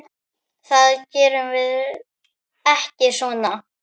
Það gerum við ekki svona.